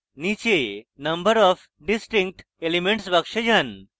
নীচে number of distinct elements box যান